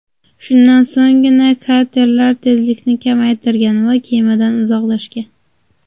Shundan so‘nggina katerlar tezlikni kamaytirgan va kemadan uzoqlashgan.